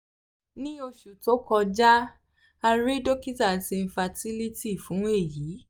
ni oṣu to kọja um a rii dokita ti infertility fun eyi um